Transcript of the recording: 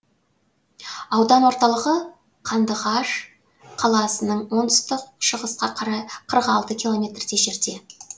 аудан орталығы қандыағаш қаласының оңтүстік шығысқа қарай қырық алты километрдей жерде